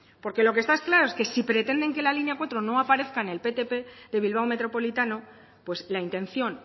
porque lo que está claro es que se pretenden que la línea cuatro no aparezca en el ptp de bilbao metropolitano pues la intención